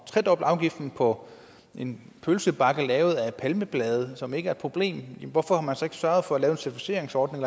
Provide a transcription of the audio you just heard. tredoble afgiften på en pølsebakke lavet af palmeblade som ikke er et problem hvorfor har man så ikke sørget for at lave en certificeringsordning